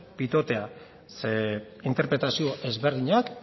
pitotea zer interpretazio desberdinak